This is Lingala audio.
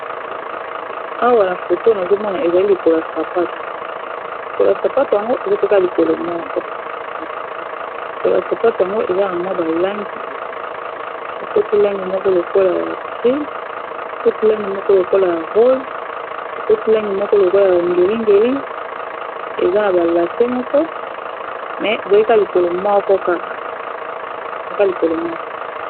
Awa na foto nazomona ezali likolo ya sapato, likolo ya sapatu yango eza pe ka lokolo moko lokolo ya sapato yango eza na mwa balangi ekoti langi moko lokola ya gris, ekoti langi moko lokola ya rose, ekoti langi Moko lokola ya ba ngeli-ngeli, eza na balase moko mais ezali ka likolo moko